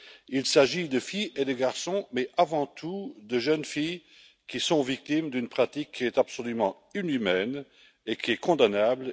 Il s'agit de filles et de garçons mais, avant tout, de jeunes filles qui sont victimes d'une pratique qui est absolument inhumaine et condamnable.